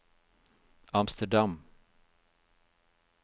Amsterdam